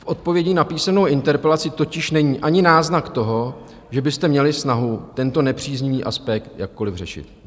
V odpovědi na písemnou interpelaci totiž není ani náznak toho, že byste měli snahu tento nepříznivý aspekt jakkoli řešit.